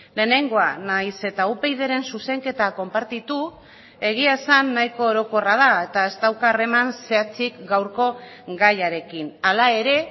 lehenengoa nahiz eta upydren zuzenketa konpartitu egia esan nahiko orokorra da eta ez dauka harreman zehatzik gaurko gaiarekin hala ere